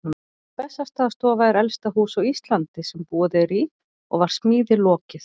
Bessastaðastofa er elsta hús á Íslandi sem búið er í og var smíði lokið